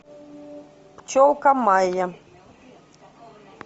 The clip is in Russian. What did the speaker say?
пчелка майя